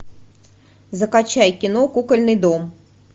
закачай кино кукольный дом